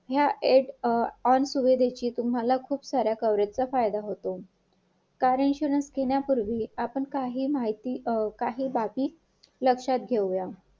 आपलं काम आहे त्यांना विचारायचं एकदा ते मला समजू दे तुम्ही त मला line वरती घ्या त्यांचा आणि माझं communication होऊ द्या मग मला समजेल मग त्यांना एकच टाईम एकच जागेवरती ऐंशी ते शंभर महिला देते तुम्ही असाल मी हे असेल